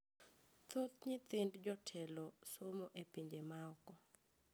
Thoth nyithind jotelo somo e pinje ma oko